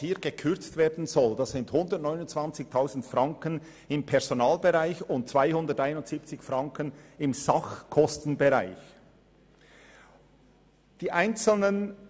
Hier sollen 129 000 Franken im Personalbereich und 271 000 Franken im Sachkostenbereich gekürzt werden.